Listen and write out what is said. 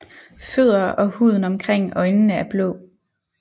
Fødder og huden omkring øjnene er blå